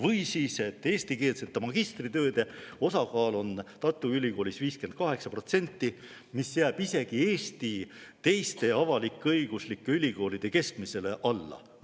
Või siis see, et eestikeelsete magistritööde osakaal on Tartu Ülikoolis 58%, mis jääb isegi teiste Eesti avalik-õiguslike ülikoolide keskmisele alla.